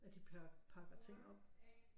At de pakker ting op